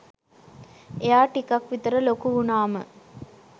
එයා ටිකක් විතර ලොකු වුනාම